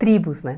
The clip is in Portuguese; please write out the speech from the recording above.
Tribos, né?